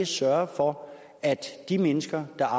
sørge for at de mennesker der